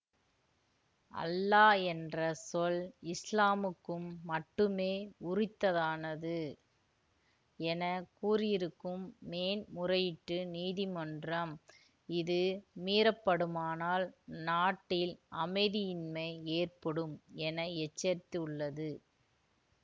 அல்லா என்ற சொல் இசுலாமுக்கு மட்டுமே உரித்ததானது என கூறியிருக்கும் மேன்முறையீட்டு நீதிமன்றம் இது மீறப்படுமானால் நாட்டில் அமைதியின்மை ஏற்படும் என எச்சரித்துள்ளது